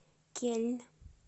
кельн